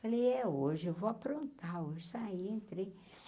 Falei, é hoje, eu vou aprontar, hoje saí, entrei.